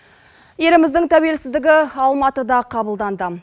еліміздің тәуелсіздігі алматыда қабылданды